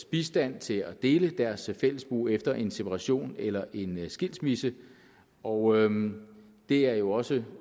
bistand til at dele deres fællesbo efter en separation eller en skilsmisse og det er jo også